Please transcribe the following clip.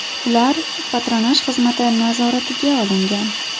Ular patronaj xizmati nazoratiga olingan.